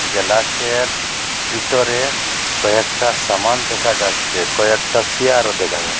গেলাসের ভিতরে কয়েকটা সামান দেখা যাচ্ছে কয়েকটা সিয়ারও দেখা যা--